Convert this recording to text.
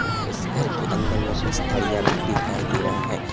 और उस घर के अंदर में कुछ थरिया भी दिखाई दे रहा है।